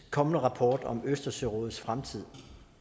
kommende rapport om østersørådets fremtid